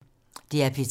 DR P3